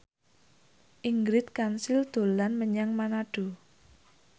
Ingrid Kansil dolan menyang Manado